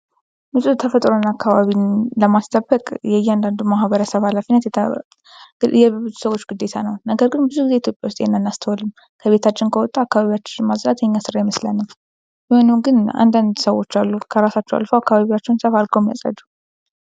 ተፈጥሮና አካባቢን ለማስጠበቅ የእያንዳንዱ ማህበረሰብ የብዙ ሰዎች ግዴታ ነው ። ነገር ግን ኢትዮጵያ ዉስጥ ይህን አናስታዉልም።